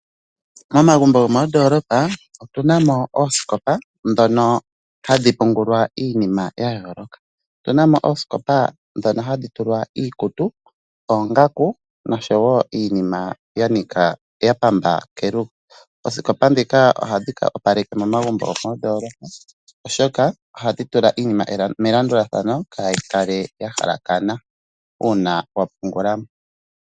Momagumbo gomoondolopa otu na mo oosikopa ndhono hadhi pungulwa iinima ya yooloka, otu na mo oosikopa ndhono hadhi tulwa iikutu, oongaku noshowo iinima ya pamba kelugo. Oosikopa ndhika ohadhi opaleke momaguumbo oshoka ohadhi tula iinima melandulathano kayi kale ya halakana uuna wa pungula.